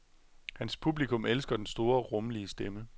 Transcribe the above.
Hans publikum elsker den store, rummelige stemme.